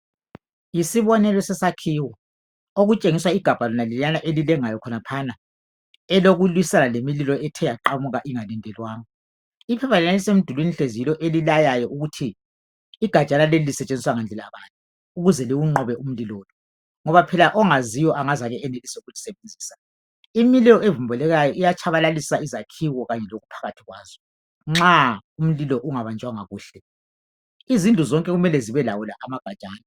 Yisibonelo sesakhiwo okutshengisa igabha lonaleliyana elilengayo khonaphana elokulwisana lemililo ethe yaqamuka ingalindelwanga iphepha leliyana elisemdulwini hlezi yilo elilayayo ukuthi igajana leli lisetshenziswa ngandlela bani ukuze liwunqobe umlilo lo ngoba phela ongaziyo angezake benelise ukulisebenzisa. Imililo evumbulukayo iyatshabalalisa izakhiwo kanye lokuphakathi kwazo nxa umlilo ungabanjwanga kuhle. Izindlu zonke kumele zibelawo la amagajana.